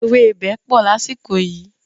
Ewébẹ̀ pọ̀ lásìkò yìí.